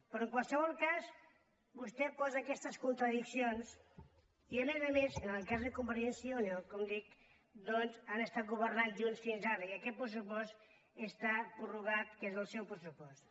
però en qualsevol cas vostè posa aquestes contradiccions i a més a més en el cas de convergència i unió com dic han governat junts fins ara i aquest pressupost que està prorrogat és el seu pressupost